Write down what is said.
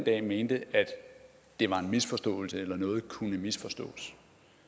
af mente at det var en misforståelse eller at noget kunne misforstås